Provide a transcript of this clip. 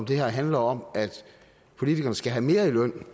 det her handler om at politikerne skal have mere i løn